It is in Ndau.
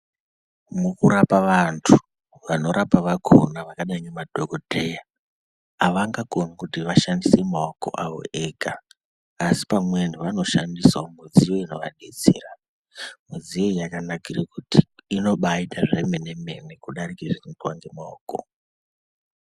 Mukurapa vantu , vanorapa vakona zvakadai ngemadhokodheya avangakoni kuti vashandise maoko avo ega asi pamweni vanoshandisawo mudziyo inovadetsera. Midziyo iyi yakanakire kuti inobaite zvemene mene kudarike zvinoitwe ngemaoko.